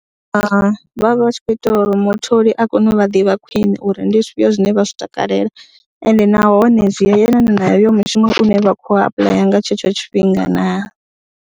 Vha vha vha tshi khou itela uri mutholi a kone u vha ḓivha khwiṋe uri ndi zwifhio zwine vha zwi takalela ende nahone zwi yelana na heyo mushumo une vha khou apuḽaya nga tshetsho tshifhinga na.